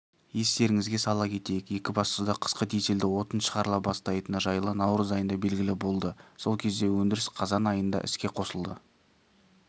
естеріңізге сала кетейік екібастұзда қысқы дизельді отын шығарыла бастайтыны жылы наурыз айында белгілі болды сол кезде өндіріс қазан айында іске қосылады